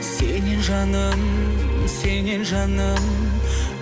сенен жаным сенен жаным